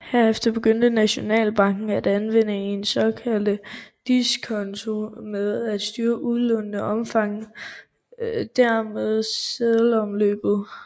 Herefter begyndte Nationalbanken at anvende den såkaldte diskonto til at styre udlånenes omfang og dermed seddelomløbet